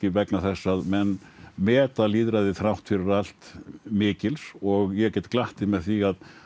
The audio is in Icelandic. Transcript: vegna þess að menn meta lýðræðið þrátt fyrir allt mikils og ég get glatt þig með því að